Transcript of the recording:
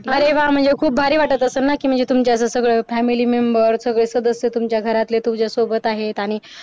अरे व्हा म्हणजे खूप भारी वाटत असेलना म्हणजे तुमचे सगळे family member सगळे सदस्य तुमच्या घरातले तुझा सोबत आहेत आणि